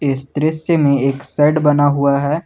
इस दृश्य में एक शेड बना हुआ है।